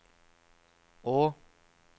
å